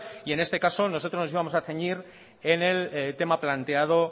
y en este caso nosotros nos íbamos a ceñir en el tema planteado